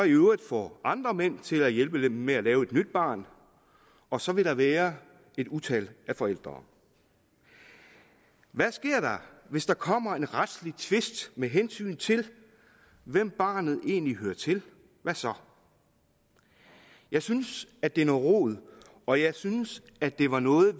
i øvrigt få andre mænd til at hjælpe dem med at lave et nyt barn og så vil der være et utal af forældre hvad sker der hvis der kommer en retslig tvist med hensyn til hvem barnet egentlig hører til hvad så jeg synes at det er noget rod og jeg synes at det er noget